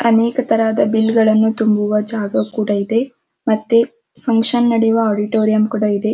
ಅನೇಕತರವಾದ bill ಗಳನ್ನು ತುಂಬುವ ಜಾಗ ಕೂಡ ಇದೆ ಮತ್ತು ಫುನ್ಕ್ಷನ್ ನಡೆವ ಆಡಿಟೋರಿಯಂ ಕೂಡ ಇದೆ.